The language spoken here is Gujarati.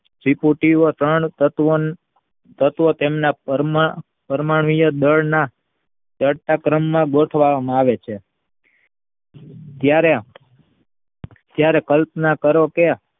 ત્રિપુટી ત્રણ તત્વને તત્વ તેમના પરમાણ્વીય દળ ના ચડતા ક્રમમાં ગોઠવામાં આવે છે. ત્યારે ત્યારે કલ્પના કરો કે